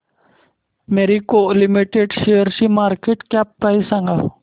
Marico limited शेअरची market cap price सांगा